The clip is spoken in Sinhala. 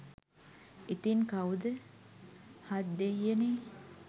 ඉතිං කව්ද හත්දෙයියනේ